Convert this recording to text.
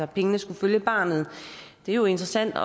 pengene skal følge barnet det er jo interessant at